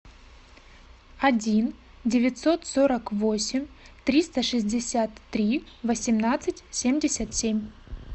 один девятьсот сорок восемь триста шестьдесят три восемнадцать семьдесят семь